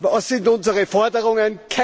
Was sind unsere Forderungen?